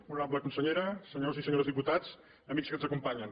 honorable consellera senyors i senyores diputats amics que ens acompanyen